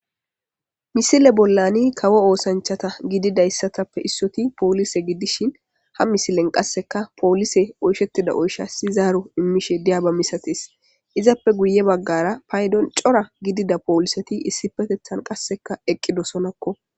Misile bolla kawo osanchata gididaysappe issoy polise gidishn , ha misilen poliseyvqase ohkeyida oyshas zaro imishe diyaba misates, izappeka guye bagara paydon cora gidida poliset issipetetan qase eqidosonako.